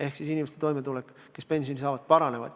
Ehk siis nende inimeste toimetulek, kes saavad pensionit, paraneb.